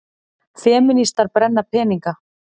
Femínistar brenna peninga